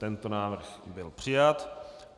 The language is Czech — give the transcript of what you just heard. Tento návrh byl přijat.